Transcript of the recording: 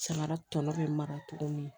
Samara tɔ bɛ mara tuguni